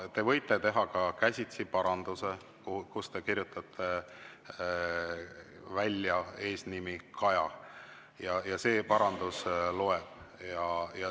Te võite teha ka käsitsi paranduse, kus te kirjutate välja eesnime Kaja, ja see parandus loeb.